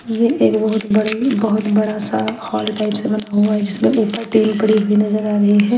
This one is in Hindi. ये एक बहुत बड़ी बहुत बड़ा सा हॉल टाइप से बना हुआ है जिसमें ऊपर टीन पड़ी हुई नज़र आ रही है।